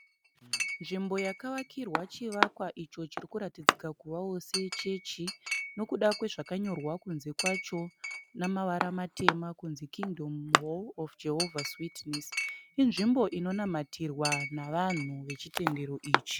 Nzvimbo yakavakirwa chivakwa icho chirikuratidzika kuvavo sechechi, nokuda kwezvakanyorwa kunze kwacho nemavara matema kunzi Kingdom hall of Jehova's witness, inzvimbo inonamatirwa nevanhu vechitendero ichi.